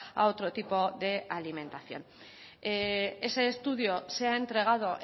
a otro tipo de alimentación ese estudio se ha entregado